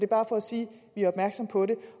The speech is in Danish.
bare for at sige vi er opmærksomme på det